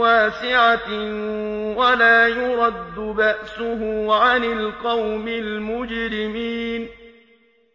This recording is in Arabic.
وَاسِعَةٍ وَلَا يُرَدُّ بَأْسُهُ عَنِ الْقَوْمِ الْمُجْرِمِينَ